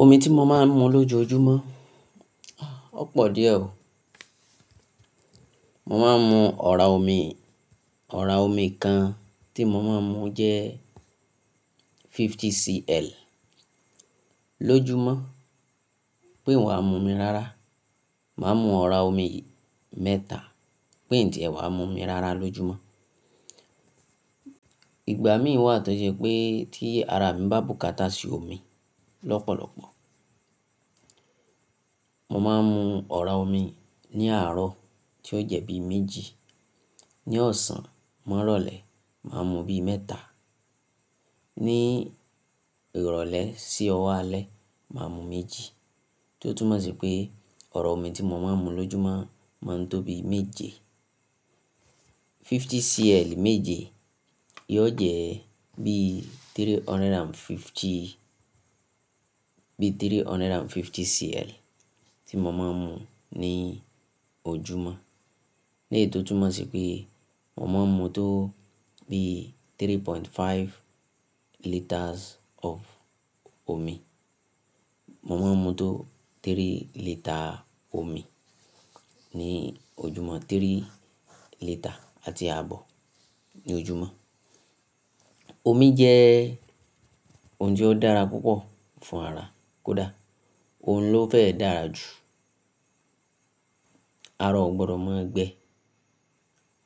Omi tí mo máa ń mu lójoojúmọ́, ó pọ̀ díẹ̀ o. Mo máa ń mu ọ̀rá omi, ọ̀rá omi kan tí mo máa ń mu jẹ́ fifty cl lójúmọ́, bí n wàá mu omi rara, màá mu ọ̀rá omi mẹ́ta, pe ín tiẹ̀ wàá mu omi rara lójúmọ́. Ìgbà mìí wà tó ṣe pé tí ara mi bá bùkátà sí omi lọ́pọ̀lọpọ̀, mo máa ń mu ọ̀rá omi ní àárọ̀ tí ó jẹ́ bí méjì, ní ọ̀sán mọ́ ìrọ̀lẹ́ màá mu bí mẹ́ta, ní ìrọ̀lẹ́ sí ọwo álẹ́ màá mu méjì. Tótúnmọ̀ sí pé ọ̀rá omi tí mo máa ń mu lójúmọ́ máa ń tó bí méje. Fifty cl méje, yoó jẹ́ bí three hundred and fifty, bí three hundred and fifty cl tí mo máa ń mu ní ojúmọ́. Ní eyi tò túnmọ̀ sí pé mo máa ń mu tó bí three point five litres of omi. Mo máa ń mu tó three lítà omi ní ojúmọ́, three lítà àti àbọ̀ ní ojúmọ́. Omi jẹ́ ohun tí ó dára púpọ̀ fún ara, kódà òhun ló fẹ́ dára jù. Ará ò gbọdọ̀ máa gbẹ.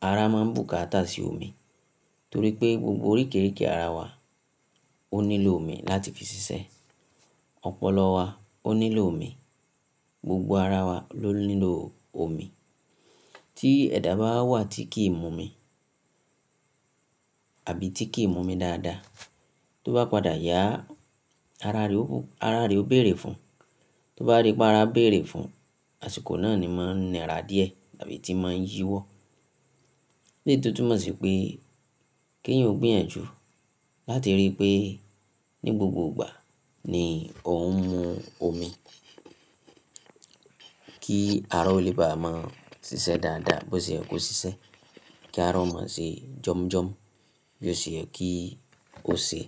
Ara máa ń bùkátà sí omi torí pé gbogbo oríkìrìkì ara wa ó nílò omi láti fi ṣiṣẹ́. Ọpọlọ wa ó nílò omi, gbogbo ara wa ló nílò omi. Tí ẹ̀dá bá wa wà tí kìí mu omi àbí tí kìí mu omi dáadáa, tó bá padà yá ara rẹ ó bù-- ara rẹ ó bèrè fún. Tó bá dí pé ara ń bèrè fún, àsìkò náà ni máa ń nira díẹ̀ àbí tí máa ń yíwọ́. Ní èyi tò túnmọ̀ sí pé kí ẹ̀yin ó gbìyànjú láti rí pé ní gbogbo ìgbà ni ò ń mu omi kí ará ò lè bá mọ́ ṣiṣẹ́ dáadáa bó ṣe ye kò ṣiṣẹ́, kí ará ò máa ṣe jọm jọm bó ṣe ye kí ó ṣe.